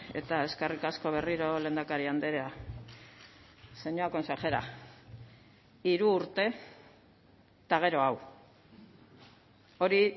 eta eskerrik asko berriro lehendakari andrea señora consejera hiru urte eta gero hau hori